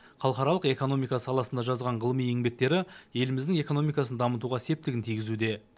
халықаралық экономика саласында жазған ғылыми еңбектері еліміздің экономикасын дамытуға септігін тигізуде